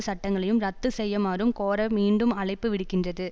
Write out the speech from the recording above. சட்டங்களையும் இரத்து செய்யமாறும் கோர மீண்டும் அழைப்பு விடுக்கின்றது